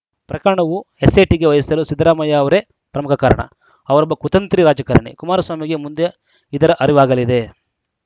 ಪ್ರಕರಣವು ಎಸ್‌ಐಟಿಗೆ ವಹಿಸಲು ಸಿದ್ದರಾಮಯ್ಯ ಅವರೇ ಪ್ರಮುಖ ಕಾರಣ ಅವರೊಬ್ಬ ಕುತಂತ್ರಿ ರಾಜಕಾರಣಿ ಕುಮಾರಸ್ವಾಮಿಗೆ ಮುಂದೆ ಇದರ ಅರಿವಾಗಲಿದೆ